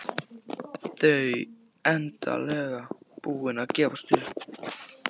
Þau endanlega búin að gefast upp.